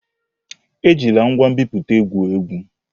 Ejila ngwa nbipute egwu egwu!